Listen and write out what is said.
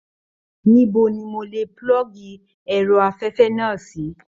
Níbo ni mò lè pulọgi ẹrọ afẹfẹ náà sì?